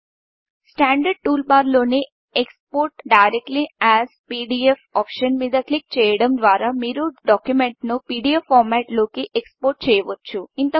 standard tool బార్లోని export direct as PDF export directly as PDF option మీద click చేయడం ద్వారా మీరు డాక్యుమెంట్ను పీడీఎఫ్ ఫార్మెట్లోకి ఎక్స్ పోర్ట్ చేయవచ్చు